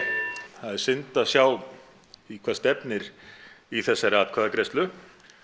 það er synd að sjá í hvað stefnir í þessari atkvæðagreiðslu